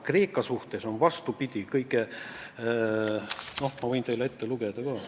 Noh, ma võin teile ette lugeda ka.